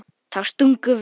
Þá stungum við